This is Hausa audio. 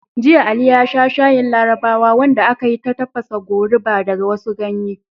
Jiya, Ali ya sha shayin Larabawa wanda aka yi ta tafasa goruba da wasu ganye.